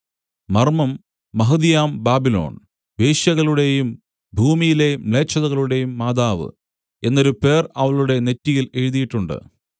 മർമ്മം മഹതിയാം ബാബിലോൺ വേശ്യകളുടേയും ഭൂമിയിലെ മ്ലേച്ഛതകളുടെയും മാതാവ് എന്നൊരു പേർ അവളുടെ നെറ്റിയിൽ എഴുതീട്ടുണ്ട്